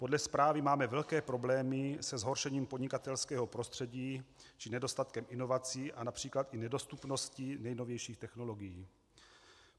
Podle zprávy máme velké problémy se zhoršením podnikatelského prostředí či nedostatkem inovací a například i nedostupností nejnovějších technologií.